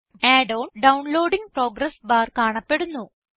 add on downloading progress bar കാണപ്പെടുന്നു